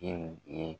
ye